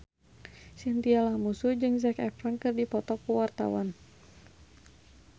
Chintya Lamusu jeung Zac Efron keur dipoto ku wartawan